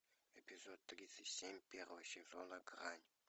эпизод тридцать семь первого сезона грань